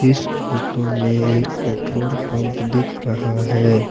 इस फोटो में एक पेट्रोल पंप दिख रहा है।